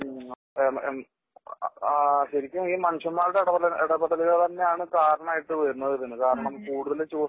ഹ്ം ആ ശെരിക്കും ഈ മനുഷ്യന്മാരുടെ ഇടപെടൽ ഇടപെടലുകൾ തന്നെയാണ് കാരണം ആയിട്ട് വരുന്നത് തന്നെ കാരണം കൂടുതല് ചൂഷണം